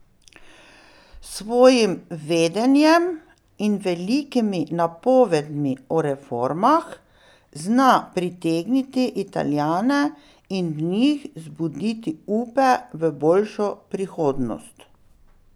S svojim vedenjem in velikimi napovedmi o reformah zna pritegniti Italijane in v njih zbuditi upe v boljšo prihodnost.